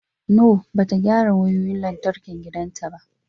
No, ba ta gyara wayoyin lantarkin gidanta ba.